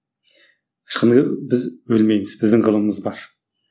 біз өлмейміз біздің ғылымымыз бар